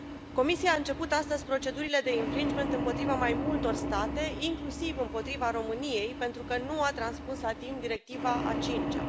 Comisia a început astăzi procedurile de infringement împotriva mai multor state, inclusiv împotriva României pentru că nu a transpus la timp Directiva a cincea.